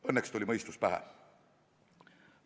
Õnneks tuli mõistus pähe.